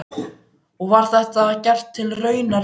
Og var þetta gert til raunar við hann.